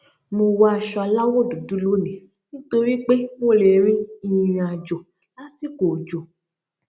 mo wọ aṣọ aláwò dúdú lónìí nítorí pé mo lè rin ìrìn àjò lásìkò òjò